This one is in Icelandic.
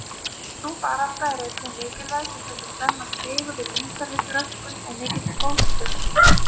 Sú barátta er einnig mikilvæg til þess að stemma stigu við umhverfisröskun og mikilli fólksfjölgun.